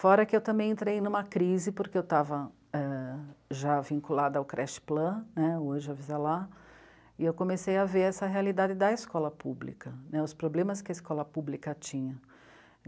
Fora que eu também entrei numa crise, porque eu estava é... já vinculada ao Creche Plan, né, hoje Avisa Lá, e eu comecei a ver essa realidade da escola pública, né, os problemas que a escola pública tinha.